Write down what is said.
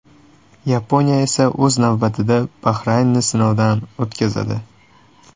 Yaponiya esa o‘z navbatida Bahraynni sinovdan o‘tkazadi.